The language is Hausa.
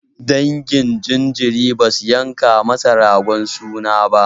Dangin jinjirin basu yanka masa ragon suna ba.